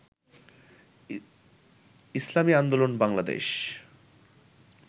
Islami Andolan Bangladesh